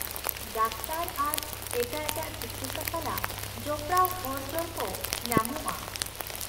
Doctor ᱟᱨ ᱮᱴᱟᱜ ᱮᱴᱟᱜ ᱛᱤᱠᱤᱪᱪᱷᱟ ᱥᱟᱞᱟᱜ ᱡᱚᱯᱲᱟᱣᱟᱱ ᱦᱚᱲ ᱡᱚᱲ ᱠᱚ ᱧᱟᱢᱚᱜᱼᱟ ᱾